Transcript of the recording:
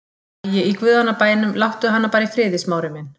Æ, í guðanna bænum, láttu hana bara í friði, Smári minn.